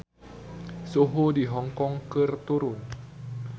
Suhu di Hong Kong keur turun